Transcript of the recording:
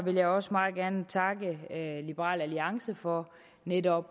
vil jeg også meget gerne takke liberal alliance for netop